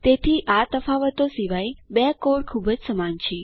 તેથી આ તફાવતો સિવાય બે કોડ ખૂબ જ સમાન છે